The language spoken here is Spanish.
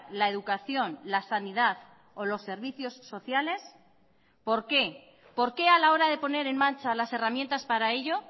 la educación la sanidad o los servicios sociales por qué por qué a la hora de poner en marcha las herramientas para ello